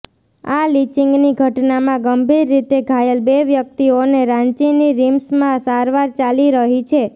આ લિંચિંગની ઘટનામાં ગંભીર રીતે ઘાયલ બે વ્યક્તિઓને રાંચીની રિમ્સમાં સારવાર ચાલી રહી છે